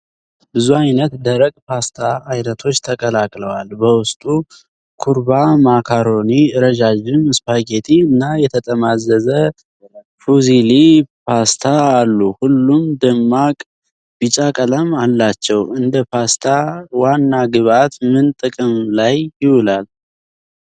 ብዙ አይነት ደረቅ ፓስታ ዓይነቶች ተቀላቅለዋል። በውስጡ ኩርባ ማካሮኒ ፣ ረዣዥም ስፓጌቲ እና የተጠማዘዘ ፉዚሊ ፓስታ አሉ። ሁሉም ደማቅ ቢጫ ቀለም አላቸው። እንደ ፓስታ ዋና ግብአት ምን ጥቅም ላይ ይውላል?